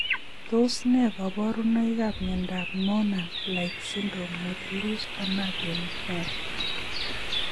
Tos ne kaborunoikab miondop noonan like syndrome with loose anagen hair?